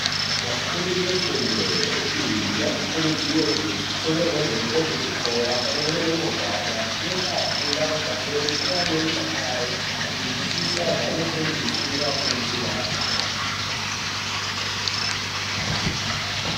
Vafundi vefundo yepiri vanokurudzirwe kutengerwa hembe dzechikora pamwe nemagwada zvinoita vafunde vari pamweni uye ane mudakaro vachizwisise zvavanofundiswa ngevafundisi yayo.